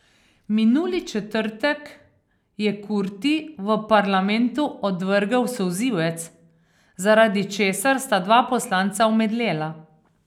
Minuli četrtek je Kurti v parlamentu odvrgel solzivec, zaradi česar sta dva poslanca omedlela.